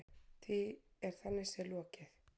Því er þannig séð lokið.